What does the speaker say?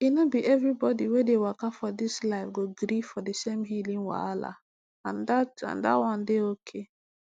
e no be everybody wey dey waka for this life go gree for the same healing wahala and dat and dat one dey okay